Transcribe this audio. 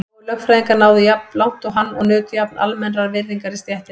Fáir lögfræðingar náðu jafn langt og hann og nutu jafn almennrar virðingar í stéttinni.